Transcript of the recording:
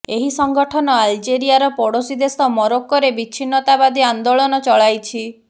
ଏହି ସଂଗଠନ ଆଲଜେରିଆର ପ୍ରଡୋଶୀ ଦେଶ ମରୋକ୍କୋରେ ବିଚ୍ଛିନ୍ନତାବାଦୀ ଆନ୍ଦୋଳନ ଚଳାଇଛି